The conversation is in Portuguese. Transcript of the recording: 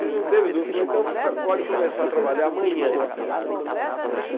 Ele não teve dúvida, falou, então você pode começar a trabalhar amanhã aqui.